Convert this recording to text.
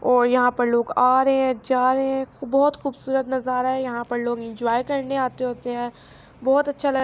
اءر ےاحا پار لہگ ا راحع حای جا راحع حای، باحہت کحہہبسءرات نزارا حای، ےاحا پار لہگ ینجہے کرنع اتع ہوتے حای، باحہت اچچحا۔.